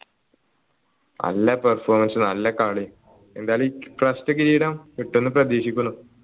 നല്ല performance നല്ല കളി എന്തായാലും ഇപ്രാവശ്യത്തെ കിരീടം കിട്ടുംന്ന് പ്രതീക്ഷിക്കുന്നു